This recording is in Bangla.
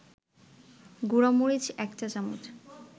গুঁড়ামরিচ ১ চা-চামচ